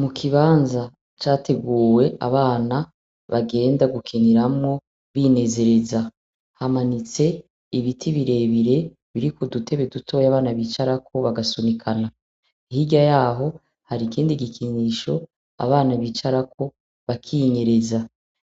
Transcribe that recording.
Mu kibanza categuwe abana bagenda gukiniramwo, binezereza. Hamanitse ibiti birebire, biriko udutebe dutoya abana bicarako bagasunikana. Hirya y'aho, hari ikindi gikinisho abana bicarako bakinyereza.